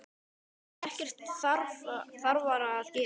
Ég hef ekkert þarfara að gera.